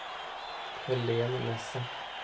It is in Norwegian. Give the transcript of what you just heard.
Helen Nesse